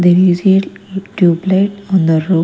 There is a tube light on the ro--